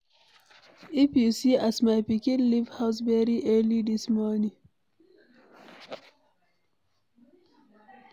If you see as my pikin leave house very early dis morning.